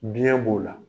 Biɲɛ b'o la